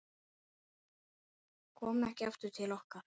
Komir ekki aftur til okkar.